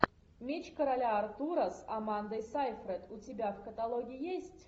меч короля артура с амандой сейфрид у тебя в каталоге есть